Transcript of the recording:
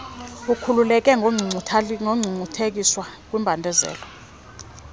ukhululeke kungcungcuthekiso kwimbandezelo